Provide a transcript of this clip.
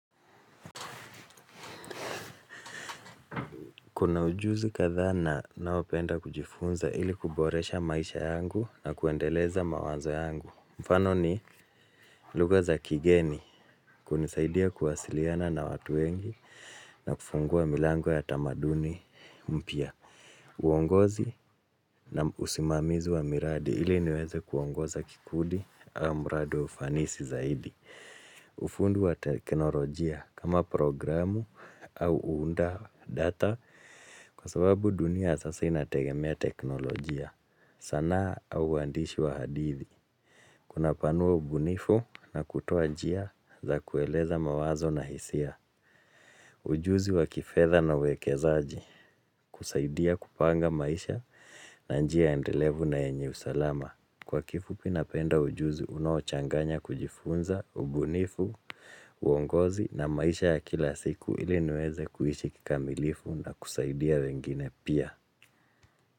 Kuna ujuzi kathana nawopenda kujifunza ili kuboresha maisha yangu na kuendeleza mawazo yangu. Mfano ni luga za kigeni kunisaidia kuwasiliana na watu wengi na kufungua milango ya tamaduni mpia. Uongozi na usimamizi wa miradi ili niweze kuongoza kikudi wa muradi wa ufanisi zaidi. Ufundi wa teknolojia kama programu au uunda data. Kwa sababu dunia sasa inategemea teknolojia sana au wandishi wa hadithi. Kuna panua ubunifu na kutoa jia za kueleza mawazo na hisia. Ujuzi wa kifedha na uwekezaaji kusaidia kupanga maisha na njia endelevu na yenye usalama. Kwa kifupi napenda ujuzi unaochanganya kujifunza ubunifu uongozi na maisha ya kila siku ili niweze kuishi kikamilifu.